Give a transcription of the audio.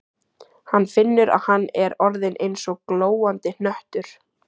Hann finnur að hann er orðinn eins og glóandi hnöttur.